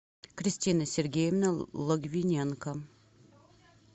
кристина сергеевна логвиненко